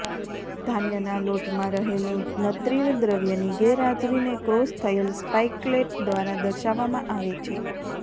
ધાન્યના લોટમાં રહેલું નત્રિલ દ્રવ્યની ગેરહાજરીને ક્રોસ થયેલ સ્પાઇકલેટ દ્વારા દર્શાવવામાં આવે છે